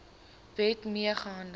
wet mee gehandel